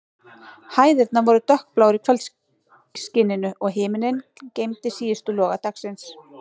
Hæðirnar voru dökkbláar í kvöldskininu, og himinninn geymdi síðustu loga dagsins.